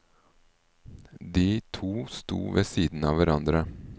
De to sto ved siden av hverandre.